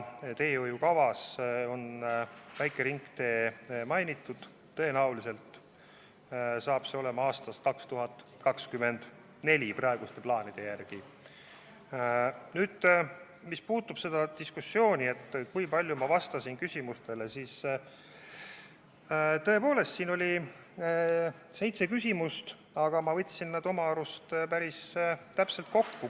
Teehoiukavas on väikest ringteed mainitud, praeguste plaanide järgi saavad tööd alguse tõenäoliselt aastal 2024. Mis puudutab seda diskussiooni, kui palju ma vastasin küsimustele, siis tõepoolest, siin oli seitse küsimust, aga ma võtsin nad oma arust päris täpselt kokku.